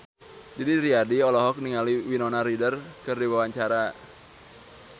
Didi Riyadi olohok ningali Winona Ryder keur diwawancara